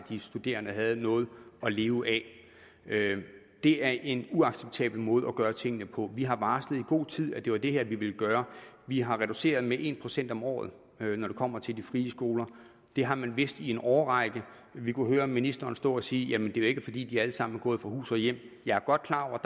de studerende havde noget at leve af det er en uacceptabel måde at gøre tingene på vi har varslet i god tid at det var det her vi ville gøre vi har reduceret med en procent om året når det kommer til de frie skoler det har man vidst i en årrække vi kunne høre ministeren stå og sige jamen det er jo ikke fordi de alle sammen er gået fra hus og hjem jeg er godt klar over